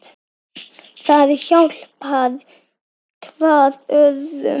Það hjálpar hvað öðru.